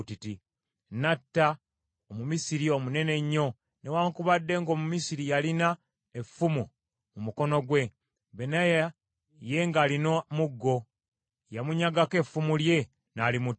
N’atta Omumisiri omunene ennyo. Newaakubadde ng’Omumisiri yalina effumu mu mukono gwe, Benaya ye ng’alina muggo; yamunyagako effumu lye, n’alimuttisa.